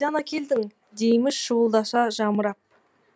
қайдан әкелдің дейміз шуылдаса жамырап